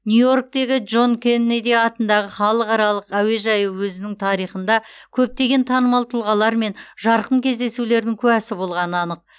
нью иорктегі джон кеннеди атындағы халықаралық әуежайы өзінің тарихында көптеген танымал тұлғалар мен жарқын кездесулердің куәсі болғаны анық